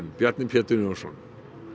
Bjarni Pétur Jónsson mette